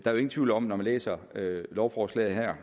er jo ingen tvivl om når man læser lovforslaget her